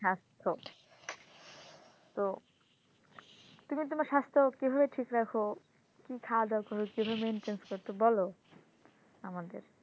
হ্যাঁ তো তো তুমি তোমার স্বাস্থ্য কিভাবে ঠিক রাখো? কি খাওয়া দাওয়া করো? কিভাবে maintenance করতে হয় বল আমাদের